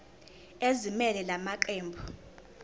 ezimelele la maqembu